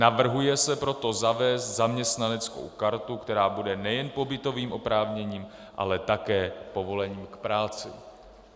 Navrhuje se proto zavést zaměstnaneckou kartu, která bude nejen pobytovým oprávněním, ale také povolením k práci.